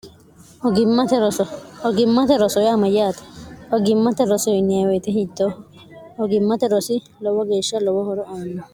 hogimmate rosoye amayyaate ogimmate rosoinye woyite hito hogimmate rosi lowo geeshsha lowohoro aanno